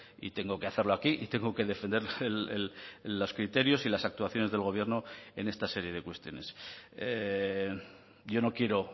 y tengo que hacerlo aquí y tengo que defender los criterios y las actuaciones del gobierno en esta serie de cuestiones yo no quiero